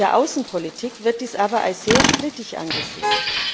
In der Außenpolitik wird dies aber als sehr strittig angesehen.